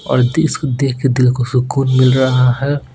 और दिस को देख के दिल को सुकून मिल रहा है।